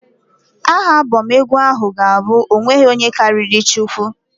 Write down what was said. Aha Abọm egwu ahụ ga-abụ "ọ nweghị ihe karịrị Chukwu".